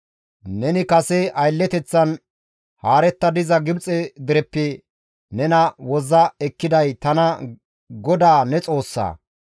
‹Neni kase aylleteththan haaretta diza Gibxe dereppe nena wozza ekkiday tana GODAA ne Xoossaa.